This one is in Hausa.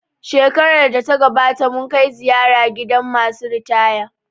Shekarar da ta gabata mun kai ziyara gidan masu ritaya